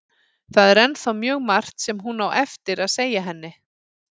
Það er ennþá mjög margt sem hún á eftir að segja henni.